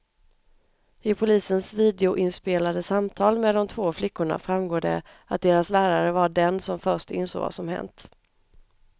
I polisens videoinspelade samtal med de två flickorna framgår det att deras lärare var den som först insåg vad som hänt.